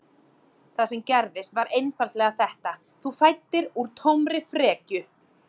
Það sem gerðist var einfaldlega þetta: Þú fæddir úr tómri frekju.